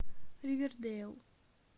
ривердейл